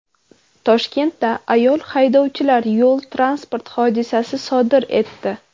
Toshkentda ayol haydovchilar yo‘l-transport hodisasi sodir etdi.